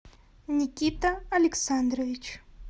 никита александрович